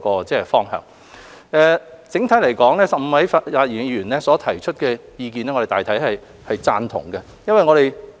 整體來說 ，15 位發言議員所提出的意見，我們大致贊同。